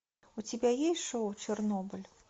у тебя есть шоу чернобыль